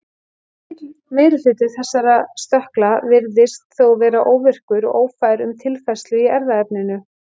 Mikill meiri hluti þessara stökkla virðist þó vera óvirkur og ófær um tilfærslu í erfðaefninu.